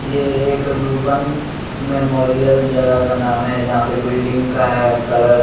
ये एक Ruban Memorial जगह का नाम है जहां पे बिल्डिंग का है कलर --